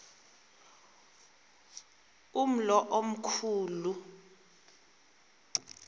umlo omkhu lu